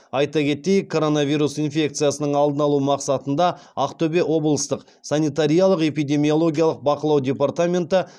айта кетейік коронавирус инфекциясының алдын алу мақсатында ақтөбе облыстық санитариялық эпидемиологиялық бақылау департаменті